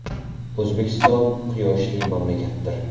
O‘zbekiston – quyoshli mamlakatdir.